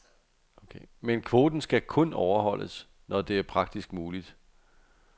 Men kvoten skal kun overholdes, når det er praktisk muligt.